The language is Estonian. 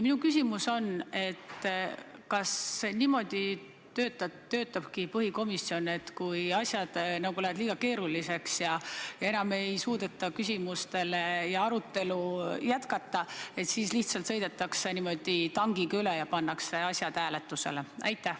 Minu küsimus on järgmine: kas põhiseaduskomisjon töötabki niimoodi, et kui asjad lähevad liiga keeruliseks ja enam ei suudeta küsimustele vastata ja arutelu jätkata, siis lihtsalt sõidetakse tankiga üle ja pannakse asjad hääletusele?